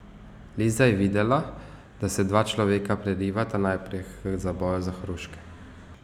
Liza je videla, da se dva človeka prerivata naprej k zaboju za hruške.